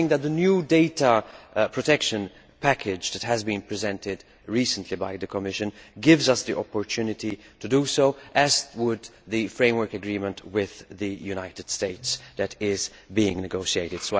I think that the new data protection package recently presented by the Commission gives us the opportunity to do so, as would the framework agreement with the United States that is being negotiated.